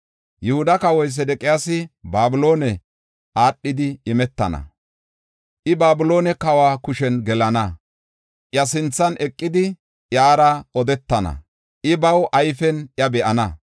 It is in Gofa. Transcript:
Yihuda kawoy Sedeqiyaasi Babiloone aadhidi imetana; I Babiloone kawa kushen gelana. Iya sinthan eqidi, iyara odetana; I ba ayfen iya be7ana.